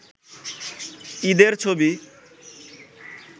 ঈদের ছবি